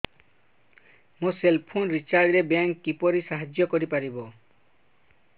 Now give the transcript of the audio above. ମୋ cell phone recharge ରେ bank କିପରି ସାହାଯ୍ୟ କରିପାରିବ